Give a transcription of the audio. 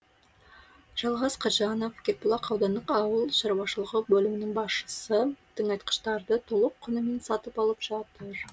жалғас қатжанов кербұлақ аудандық ауыл шаруашылығы бөлімінің басшысы тыңайтқыштарды толық құнымен сатып алып жатыр